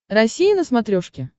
россия на смотрешке